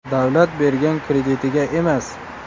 Davlat bergan kreditiga emas.